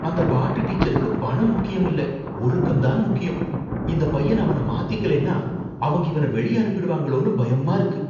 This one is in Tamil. அந்தப் பாட்டு டீச்சருக்கு பணம் முக்கியம் இல்ல ஒழுக்கம் தான் முக்கியம். இந்தப் பையன் அவன மாத்திக்கலைன்னா அவங்க இவன வெளிய அனுப்பிடுவாங்களோன்னு பயமா இருக்கு.